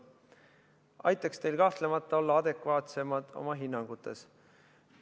See aitaks teil kahtlemata olla adekvaatsemad oma hinnangutes.